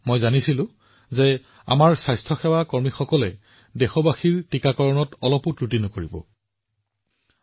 মই জানিছিলো যে আমাৰ স্বাস্থ্যসেৱা কৰ্মীসকলে আমাৰ দেশবাসীৰ টীকাকৰণত কোনো ধৰণৰ অৱহেলা কৰা নাই